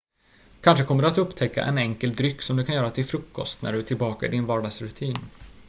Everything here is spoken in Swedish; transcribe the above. kanske kommer du att upptäcka en enkel dryck som du kan göra till frukost när du är tillbaka i din vardagsrutin